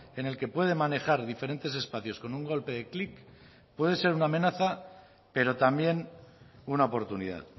en el que puede manejar diferentes espacios con un golpe de clic puede ser una amenaza pero también una oportunidad